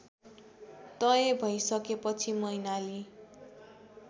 तय भइसकेपछि मैनाली